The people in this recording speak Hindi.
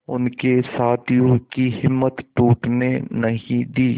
उनके साथियों की हिम्मत टूटने नहीं दी